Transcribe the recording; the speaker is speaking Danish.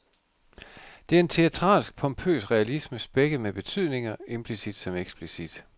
Det er en teatralsk, pompøs realisme, spækket med betydninger, implicit som eksplicit.